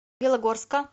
белогорска